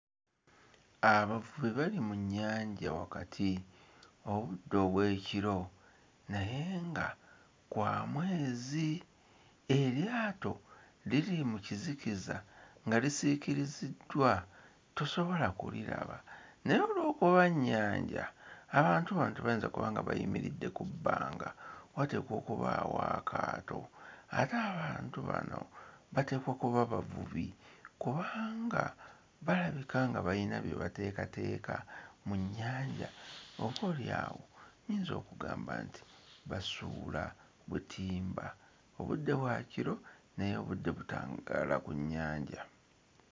Abavubi bali mu nnyanja wakati obudde obw'ekiro naye nga kwa mwezi. Eryato liri mu kizikiza nga lisiikiriziddwa tosobola kuliraba naye olw'okuba nnyanja, abantu bano tebayinza kuba nga bayimiridde ku bbanga. Wateekwa okubaawo akaato ate abantu bano bateekwa kuba bavubi kubanga balabika nga bayina bye bateekateeka mu nnyanja, oboolyawo nnyinza okugamba nti basuula butimba. Obudde bwa kiro naye obudde butangaala ku nnyanja.